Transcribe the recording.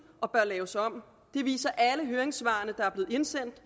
og bør laves om det viser alle høringssvarene der er blevet indsendt